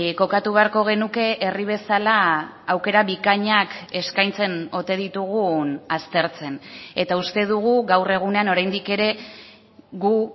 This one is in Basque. kokatu beharko genuke herri bezala aukera bikainak eskaintzen ote ditugun aztertzen eta uste dugu gaur egunean oraindik ere gu